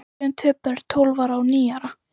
Við eigum tvö börn, tólf ára og níu ára.